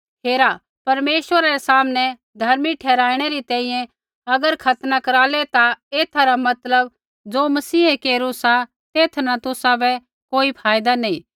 हेरा परमेश्वरा रै सामनै धर्मी ठहराईणै री तैंईंयैं अगर खतना करालै ता एथा रा मतलब ज़ो मसीहै केरू सा तेथा न तुसाबै कोई फ़ायदा नैंई